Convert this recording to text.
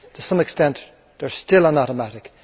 To some extent, they are still on automatic.